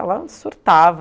Ela surtava.